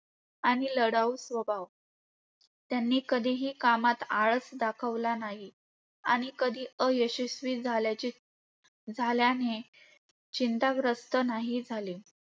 आणि लढाऊ स्वभाव. त्यांनी कधीही कामात आळस दाखवला नाही आणि कधी अयशस्वी झाल्याचे झाल्याने चिंताग्रस्त झाली नाही.